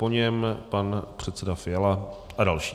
Po něm pan předseda Fiala a další.